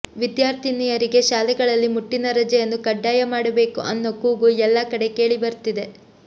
ವಿದ್ಯಾರ್ಥಿನಿಯರಿಗೆ ಶಾಲೆಗಳಲ್ಲಿ ಮುಟ್ಟಿನ ರಜೆಯನ್ನು ಕಡ್ಡಾಯ ಮಾಡಬೇಕು ಅನ್ನೋ ಕೂಗು ಎಲ್ಲಾ ಕಡೆ ಕೇಳಿ ಬರ್ತಿದೆ